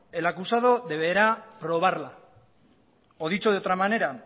el acusado deberá probarla o dicho de otra manera